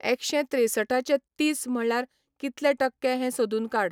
एकशें त्रेंसठाचे तीस म्हळ्यार कितले टक्के हें सोदून काड